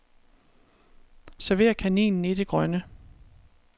Server kaninen i det grønne.